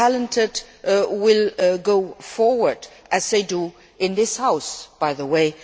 The talented will go forward as they do in this House, by the way.